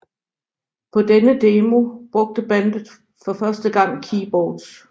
På denne demo brugte bandet for første gang keyboards